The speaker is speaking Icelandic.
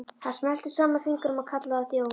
Hann smellti saman fingrum og kallaði á þjón.